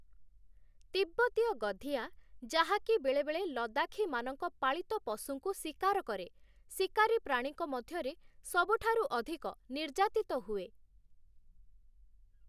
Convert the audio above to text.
ତିବ୍ବତୀୟ ଗଧିଆ, ଯାହାକି ବେଳେବେଳେ ଲଦାଖୀମାନଙ୍କ ପାଳିତ ପଶୁଙ୍କୁ ଶିକାର କରେ, ଶିକାରୀ ପ୍ରାଣୀଙ୍କ ମଧ୍ୟରେ ସବୁଠାରୁ ଅଧିକ ନିର୍ଯାତିତ ହୁଏ ।